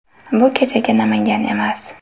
Bu kechagi Namangan emas.